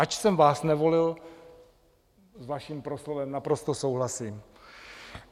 Ač jsem vás nevolil, s vaším proslovem naprosto souhlasím.